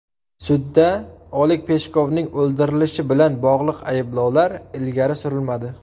Sudda Oleg Peshkovning o‘ldirilishi bilan bog‘liq ayblovlar ilgari surilmadi.